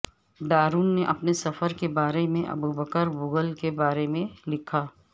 Darwin نے اپنے سفر کے بارے میں ابوبکر بگل کے بارے میں لکھا